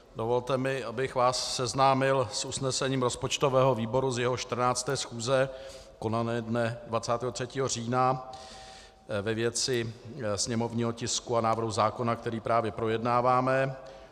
Dovolte mi, abych vás seznámil s usnesením rozpočtového výboru z jeho 14. schůze konané dne 23. října ve věci sněmovního tisku a návrhu zákona, který právě projednáváme.